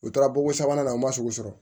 U taara bon sabanan o man sugu sɔrɔ